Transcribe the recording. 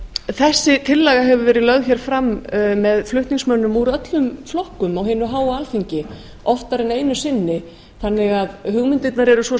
þessi tillaga hefur verið lögð hér fram með flutningsmönnum úr öllum flokkum á hinu háa alþingi oftar en einu sinni þannig að hugmyndirnar eru svo